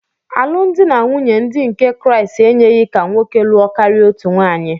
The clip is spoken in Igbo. Alụmdi na nwunye ndị nke Kraịst enyeghị ka nwoke lụọ karịa otu nwaanyị.